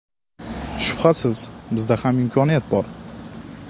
Shubhasiz, bizda ham imkoniyat bor.